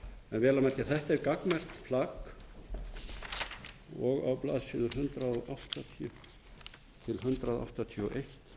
vel að merkja þetta er gagnmerkt plagg og á blaðsíðu hundrað áttatíu til hundrað áttatíu og